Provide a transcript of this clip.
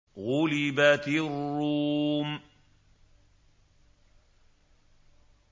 غُلِبَتِ الرُّومُ